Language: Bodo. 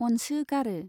अनसोगारो।